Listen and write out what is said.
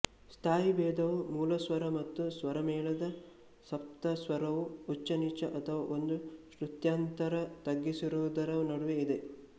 ಸ್ಥಾಯಿಭೇದವು ಮೂಲಸ್ವರ ಮತ್ತು ಸ್ವರಮೇಳದ ಸಪ್ತಸ್ವರವು ಉಚ್ಚ ನೀಚ ಅಥವಾ ಒಂದು ಶ್ರುತ್ಯಂತರ ತಗ್ಗಿಸಿರುವುದರ ನಡುವೆ ಇದೆ